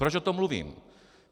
Proč o tom mluvím?